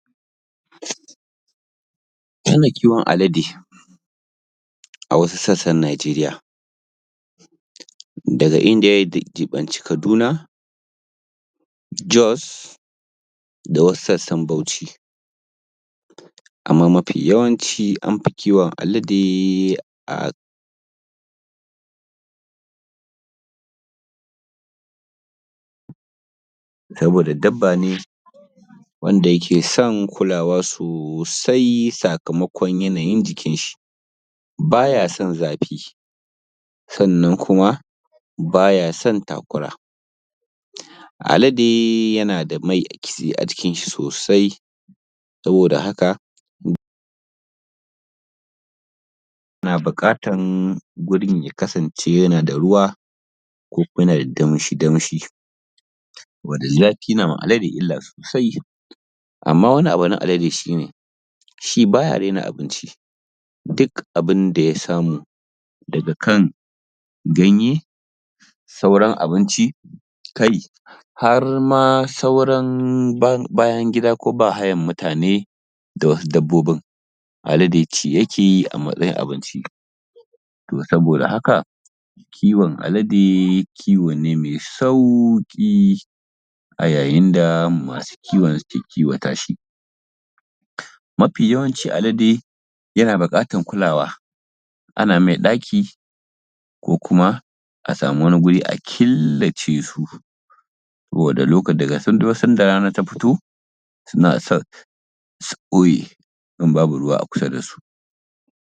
Ana kiwon alade, a wasu sassan Nijeriya, daga inda ya jiɓanci Kaduna, Jos da wasu sassan Bauchi. Amma mafi yawanci an fi kiwon alade a, saboda dabba ne wanda yake son kulawa sosai sakamakon yanayin jikinshi, ba ya son zafi. Sannan kuma, ba ya son takura. Alade yana da mai a kitse a jikinshi sosai. Saboda haka, yana buƙatan wurin ya kasance yana da ruwa, ko kuma yana da damshi-damshi, wanda zafi na ma alade illa sosai. Amma wani abu na alade shi ne, shi ba ya raina abinci, duk abin da ya samu daga kan ganye, sauran abinci, kai har ma sauran ba, bayan-gida ko ba-hayan mutane da wasu dabbobin, alade ci yake yi a matsayin abinci. To saboda haka, kiwon alade kiwo ne mai sauƙi, a yayin da masu kiwon suke kiwata shi. Mafi yawanci alade, yana buƙatan kulawa, ana mai ɗaki, ko kuma a samu wani guri a killace su, saboda loka daga sun zo san da rana ta fito, suna son su ɓoye in babu ruwa a kusa da su.